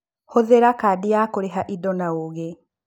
Hũthĩra kandi ya kũrĩhĩra indo na ũũgĩ.